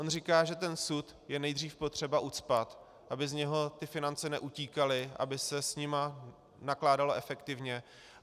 On říká, že ten sud je nejdříve potřeba ucpat, aby z něho ty finance neutíkaly, aby se s nimi nakládalo efektivně.